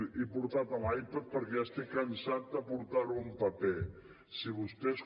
he portat l’ipad perquè ja estic cansat de portar ho en paper si vostès